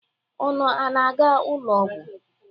Unu ana-aga ụlọ ọgwọ?